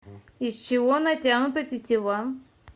из чего натянута тетива